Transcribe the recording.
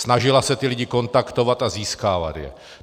Snažila se ty lidi kontaktovat a získávat je.